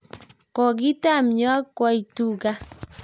lkokitam ya koitu gaa